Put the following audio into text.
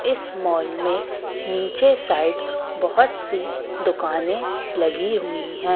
इस मॉल में नीचे साइड बहोत सी दुकाने लगी हुईं हैं।